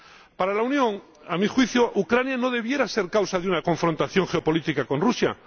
Para la Unión ―a mi juicio― Ucrania no debiera ser causa de una confrontación geopolítica con Rusia